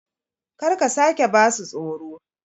Kar ka sake ba su tsoro!